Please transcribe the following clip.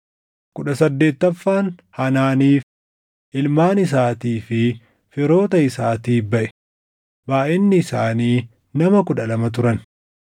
kudha saddeettaffaan Hanaaniif, // ilmaan isaatii fi firoota isaatiif baʼe; // baayʼinni isaanii nama kudha lama turan